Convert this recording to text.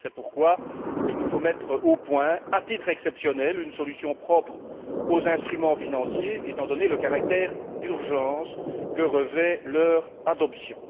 C'est pourquoi il nous faut mettre au point, à titre exceptionnel, une solution propre aux instruments financiers étant donné le caractère d'urgence que revêt leur adoption.